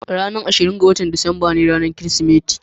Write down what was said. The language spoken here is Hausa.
Ranar ashirin da biyar ga watan Disamba ce Ranar Kirsimeti.